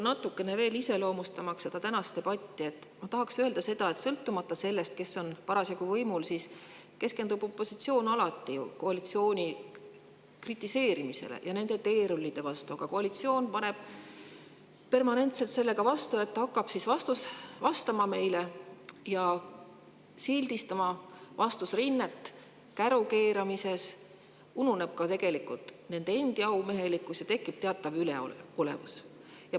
Iseloomustamaks seda tänast debatti, tahaksin öelda seda, et sõltumata sellest, kes on parasjagu võimul, keskendub opositsioon alati koalitsiooni kritiseerimisele ja on nende teerulli vastu, aga koalitsioon paneb permanentselt vastu sellega, et hakkab vastasrinnet käru keeramises, ununeb aumehelikkus ja tekib teatav üleolevus.